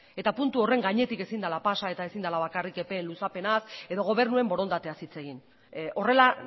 eta puntu horren gainetik ezin dela pasa eta ezin dela bakarrik epe luzapenaz edo gobernuen borondateaz hitz egin horrela